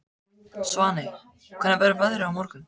Svaney, hvernig verður veðrið á morgun?